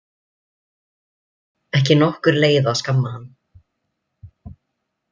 Ekki nokkur leið að skamma hann.